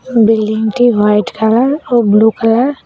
এই বিল্ডিংটি white colour ও ব্লু কালার ।